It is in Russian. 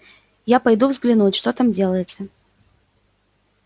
я пойду взглянуть что там делается